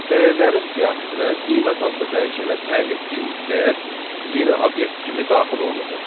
Dəyərlərin siyahısına qiymət adlı dəyişənə təyin etdiyimiz dəyər yeni obyekt kimi daxil olunacaq.